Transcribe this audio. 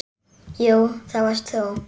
Jú, það varst þú.